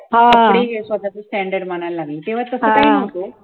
कपडे हे स्वतःच standard मानायला लागले, तेव्हा तसं काही नव्हतं